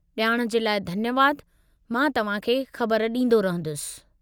ॼाण जे लाइ धन्यवादु, मां तव्हांखे ख़बर ॾींदो रहंदुसि।